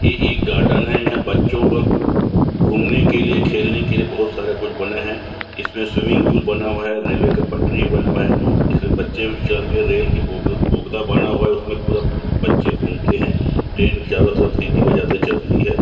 ए एक गार्डन हैं इहाँ बच्चो का घूमने के लिए खेलने के लिए बहुत सारा कुछ बना हैं इसमें स्विमिंग पूल बना हुआ हैं रेलवे का पटरी भी बना हुआ है इसमें बच्चे चढ़ के रेल की बोगी बोगदा बना हुआ हैं उसमें पूरा बच्चे घूमते हैं ट्रैन के चारों तरफ सिटी बजाती चलती हैं।